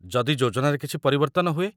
ଯଦି ଯୋଜନାରେ କିଛି ପରିବର୍ତ୍ତନ ହୁଏ?